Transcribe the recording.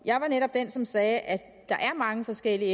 jeg var netop den som sagde at der er mange forskellige